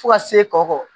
Fo ka se kɔkɔ